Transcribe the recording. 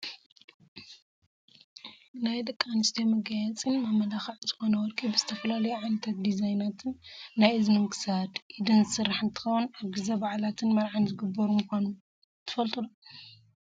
ናይ ደቂ ኣንስትዮ መጋየፂን መመላክዕን ዝኮነ ወርቂ ብዝተፈላለዩ ዓይነታትን ዲዛይናትን ናይ እዝንን ክሳድ፣ ኢድን ዝስራሕ እንትከውን ኣብ ግዜ ባዓላትን መርዓን ዝግበሩ ምኳኖም ትፈልጡ ዶ ?